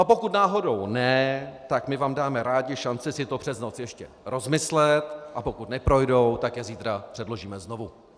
A pokud náhodou ne, tak my vám dáme rádi šanci si to přes noc ještě rozmyslet, a pokud neprojdou, tak je zítra předložíme znovu.